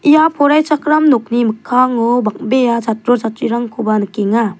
ia poraichakram nokni mikkango bang·bea chatro chatrirangkoba nikenga.